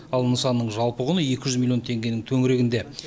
ал нысанның жалпы құны екі жүз миллион теңгенің төңірегінде